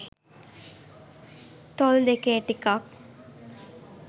තොල් දෙකේ ටිකක්